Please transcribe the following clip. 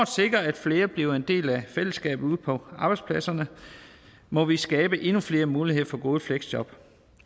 sikre at flere bliver en del af fællesskabet ude på arbejdspladserne må vi skabe endnu flere muligheder for gode fleksjob